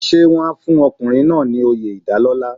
Ṣé wọ́n á fún ọkùnrin náà ní oyè ìdálọ́lá.